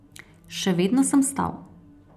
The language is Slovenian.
Še vedno sem stal.